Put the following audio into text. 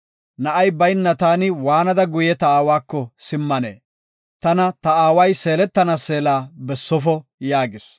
Na7ay bayna taani waanada guye ta aawako simmanee? Tana ta aaway seeletana seela bessofo” yaagis.